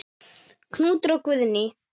Knútur og Guðný.